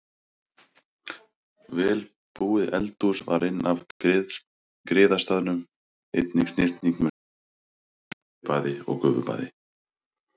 Vel búið eldhús var inn af griðastaðnum, einnig snyrting með stóru baðkeri, steypibaði og gufubaði.